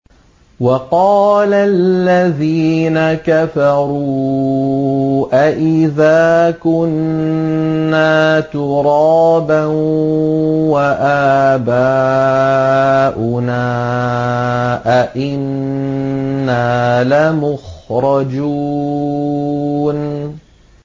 وَقَالَ الَّذِينَ كَفَرُوا أَإِذَا كُنَّا تُرَابًا وَآبَاؤُنَا أَئِنَّا لَمُخْرَجُونَ